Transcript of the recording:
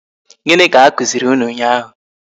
Gịnị ka a kụziri unu ụnyaahụ?